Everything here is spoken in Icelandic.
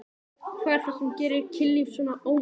Hvað er það sem gerir kynlíf svona viðsjárvert?